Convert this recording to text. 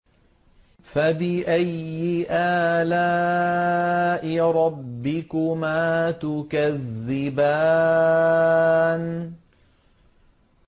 فَبِأَيِّ آلَاءِ رَبِّكُمَا تُكَذِّبَانِ